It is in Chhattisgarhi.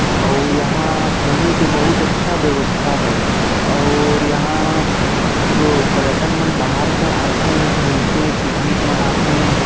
और यहां घूमे के बहुत अच्छा व्यवस्था है और यहां वो पर्यटन मन बाहर से आथे घूमथे पिकनिक मनाथे--